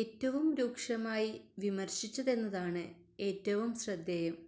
ഏറ്റവും രൂക്ഷമായി വിമര്ശിച്ചതെന്നതാണ് ഏറ്റവും ശ്രദ്ധേയം